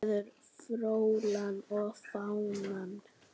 Þvílík fegurð.